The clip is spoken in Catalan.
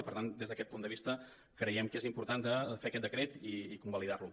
i per tant des d’aquest punt de vista creiem que és important de fer aquest decret i convalidar lo